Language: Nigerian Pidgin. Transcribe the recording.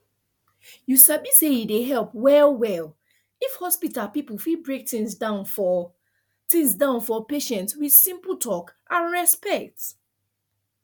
you sabi say e dey help wellwell if hospital people fit break things down for things down for patient with simple talk and respect